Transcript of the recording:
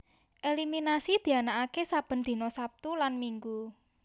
Eliminasi dianaaké saben dina Sabtu lan Minggu